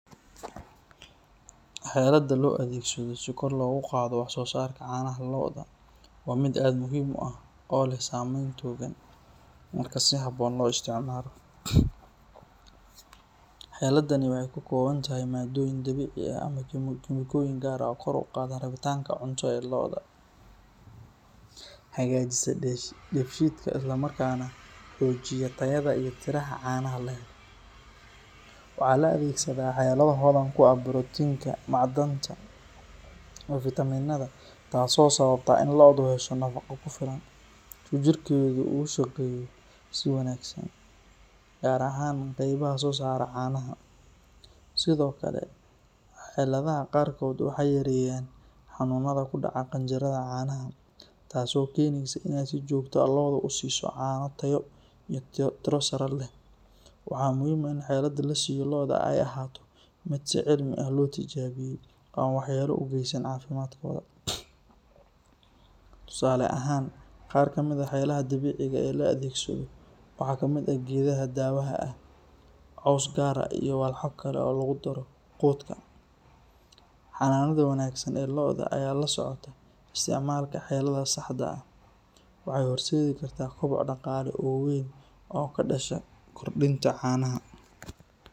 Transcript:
Xelada loo adeegsado si kor loogu qaado wax soo saarka caanaha lo’da waa mid aad muhiim u ah oo leh saameyn togan marka si habboon loo isticmaalo. Xeladani waxay ka kooban tahay maaddooyin dabiici ah ama kiimikooyin gaar ah oo kor u qaada rabitaanka cunto ee lo’da, hagaajisa dheefshiidka, isla markaana xoojiya tayada iyo tirada caanaha la helo. Waxaa la adeegsadaa xelado hodan ku ah borotiinka, macdanta iyo fitamiinada, taasoo sababta in lo’du hesho nafaqo ku filan si jidhkeedu ugu shaqeeyo si wanaagsan, gaar ahaan qaybaha soo saara caanaha. Sidoo kale, xeladaha qaarkood waxay yareeyaan xanuunada ku dhaca qanjirrada caanaha, taasoo keenaysa in si joogto ah lo’du u siiso caano tayo iyo tiro sare leh. Waxaa muhiim ah in xelada la siiyo lo’da ay ahaato mid si cilmi ah loo tijaabiyey oo aan waxyeello u geysan caafimaadkooda. Tusaale ahaan, qaar ka mid ah xeladaha dabiiciga ah ee la adeegsado waxaa ka mid ah geedaha daawada ah, caws gaar ah iyo walxo kale oo lagu daro quudka. Xanaanada wanaagsan ee lo’da oo ay la socoto isticmaalka xelada saxda ah waxay horseedi kartaa koboc dhaqaale oo weyn oo ka dhasha kordhinta caanaha.